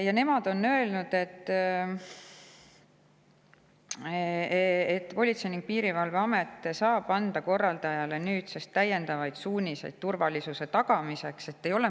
Ja nemad on öelnud, et Politsei- ja Piirivalveamet saab nüüdsest korraldajaile anda täiendavaid suuniseid turvalisuse tagamiseks.